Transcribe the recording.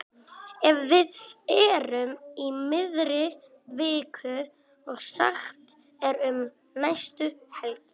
Ef við erum í miðri viku og sagt er um næstu helgi.